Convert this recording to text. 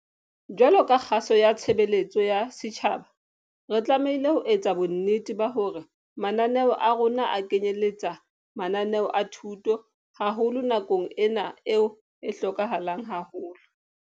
Jwaloka kgaso ya tshebeletso ya setjhaba re tlamehile ho etsa bonnete ba hore mananeo a rona a kenyelletsa mananeo a thuto, haholo nakong ena eo e hlokahalang haholo.